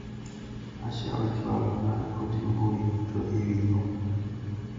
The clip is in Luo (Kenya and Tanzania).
Asha ochwalo na ote mbui duto ewi Juma.